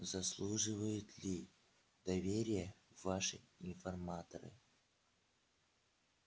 заслуживают ли доверия ваши информаторы